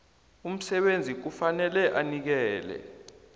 umsebenzi kufanele anikele